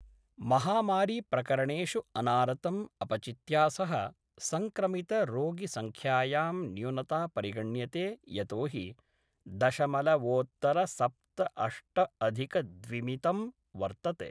महामारी प्रकरणेषु अनारतं अपचित्या सह संक्रमितरोगिसंख्यायां न्यूनता परिगण्यते यतोहि दशमलवोत्तरसप्तअष्टअधिकद्विमितं वर्तते।